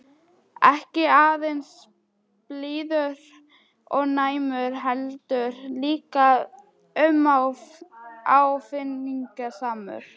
Ekki aðeins blíður og næmur- heldur líka uppáfinningasamur.